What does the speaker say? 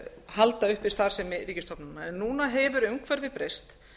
halda uppi starfsemi ríkisstofnana núna hefur umhverfið breyst